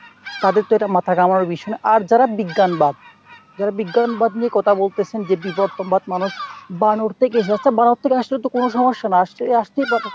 তাদের তো এটা মাথা ঘামানোর বিষয় না আর যারা যারা বিজ্ঞানবাদ যারা বিজ্ঞানবাদ নিয়ে কথা বলতেছেনা যে বিবর্তনবাদ যে মানুষ বানর থেকে এসেছে , বানর থেকে আসলে কোনো সমস্যা না , আসছে আসতেই পারে।